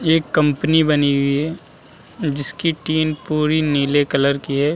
यह एक कम्पनी बनी हुई है जिसकी टीन पूरी नीले कलर की है।